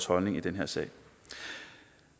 holdning i den her sag